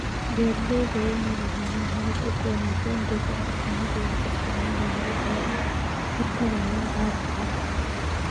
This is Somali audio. Beeralayda waa inay lahaadaan habab ay ku wanaajiyaan deegaanka shinnida iyagoo isticmaalaya habab looga hortagayo caabuqa.